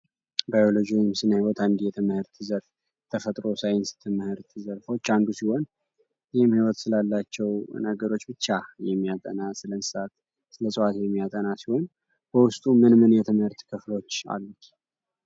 ባዮሎጂ ከስነ ህይወት የተፈጥሮ የትምህርት ዘርፎች አንዱ ሲሆን ይህም ህይወት ስላላቸው ነገሮች ብቻ የሚያጠና ፣ስለ እንስሳት ሰለ ስለ እፅዋት የሚያጠና ሲሆን በውስጡ ምን ምን የትምህርት ክፍሎች አሉት?